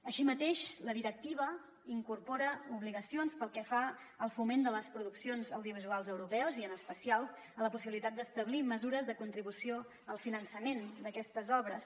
així mateix la directiva incorpora obligacions pel que fa al foment de les pro·duccions audiovisuals europees i en especial a la possibilitat d’establir mesures de contribució al finançament d’aquestes obres